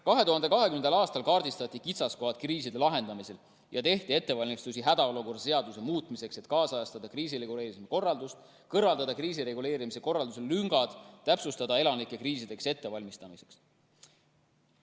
2020. aastal kaardistati kitsaskohad kriiside lahendamisel ja tehti ettevalmistusi hädaolukorra seaduse muutmiseks, et kaasajastada kriisireguleerimise korraldust, kõrvaldada kriisireguleerimise korralduse lüngad ja täpsustada elanike kriisideks ettevalmistamist.